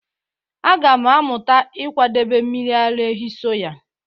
Aga m amụta ịkwadebe mmiri ara ehi soya